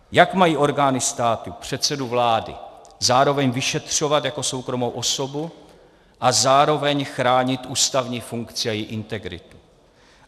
Jak mají orgány státu předsedu vlády zároveň vyšetřovat jako soukromou osobu a zároveň chránit ústavní funkci a její integritu?